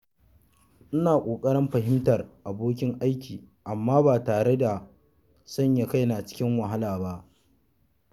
Ina kokarin fahimtar bukatar abokin aiki amma ba tare da sanya kaina cikin wahala ba.